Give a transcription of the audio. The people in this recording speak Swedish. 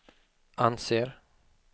anser